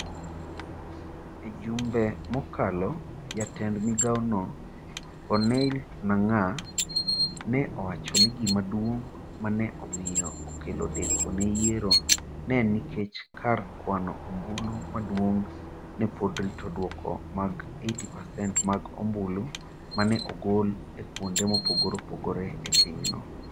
E jumbe mokalo, jatend migawono, Corneille Nangaa, ne owacho ni gima duong ' ma ne omiyo okelo deko ne yiero ne en nikech kar kwano ombulu maduong ' ne pod rito dwoko mag pasent 80 mag ombulu ma ne ogol e kuonde mopogore opogore e pinyno.